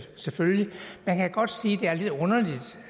selvfølgelig man kan godt sige